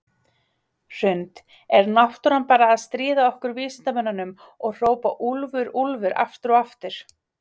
Hrund: Er náttúran bara að stríða ykkur vísindamönnunum og hrópa úlfur, úlfur aftur og aftur?